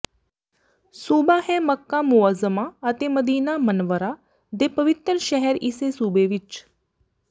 ਸੂਬਾ ਹੈ ਮੱਕਾ ਮੁਅੱਜ਼ਮਾ ਅਤੇ ਮਦੀਨਾ ਮਨੱਵਰਾ ਦੇ ਪਵਿੱਤਰ ਸ਼ਹਿਰ ਇਸੇ ਸੂਬੇ ਵਿੱਚ